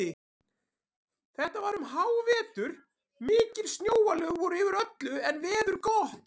Þetta var um hávetur, mikil snjóalög voru yfir öllu en veður gott.